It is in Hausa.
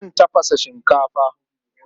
Akan tafasa shinkafa.